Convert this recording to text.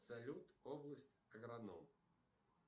салют область агроном